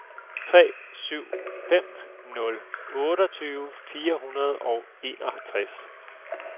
tre syv fem nul otteogtyve fire hundrede og enogtres